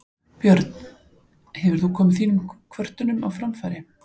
Björn: Hefur þú komið þínum kvörtunum á framfæri?